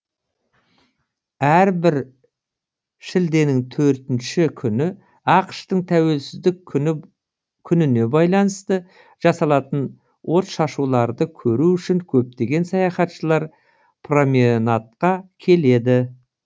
әрбір шілденің төртінші күні ақш тың тәуелсіздік күніне байланысты жасалатын отшашуларды көру үшін көптеген саяхатшылар променадқа келеді